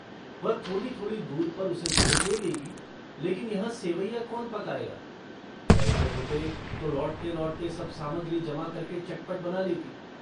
वह थोड़ीथोड़ी दूर पर उसे गोद ले लेगी लेकिन यहाँ सेवैयाँ कौन पकायेगा पैसे होते तो लौटतेलौटते सब सामग्री जमा करके चटपट बना लेती।